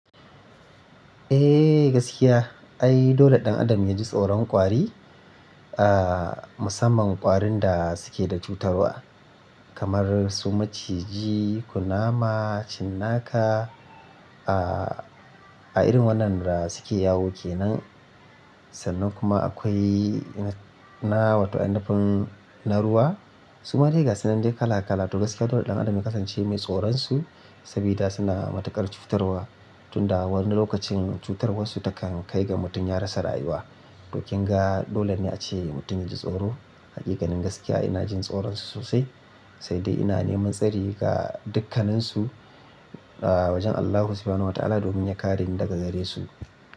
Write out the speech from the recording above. Eh gaskiya, ai dole ɗan adam yaji tsoron kwari, ah musamman kwarin da suke da cutarwa kamar su maciji, kunama, cinnaka ah a irin wannan da suke yawo kenan. Sannan kuma akwai na water inafun na ruwa. Su madai ga sunan duk kala kala to gaskiya dole ɗan adam ya kasance mai tsoron su sabida suna matuƙar cutarwa tunda wani lokacin cutar warsu takan kai ga mutum ya rasa rayuwa. To kinga dole ne ace mutum yaji tsoro. Hakikanin gaskiya ina jin tsoron su sosai, sai dai ina neman tsari ga dukkanansu aa wajen Allahu kafinawan wa ta'ala domin ya kare ni daga gare su.